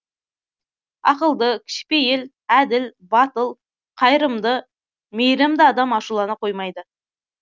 ақылды кішіпейіл әділ батыл қайырымды мейірімді адам ашулана қоймайды